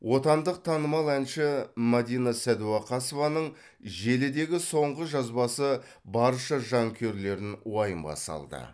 отандық танымал әнші мадина сәдуақасованың желідегі соңғы жазбасы барша жанкүйерлерін уайымға салды